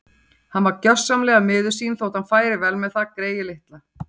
Hann var gjörsamlega miður sín þótt hann færi vel með það, greyið litla.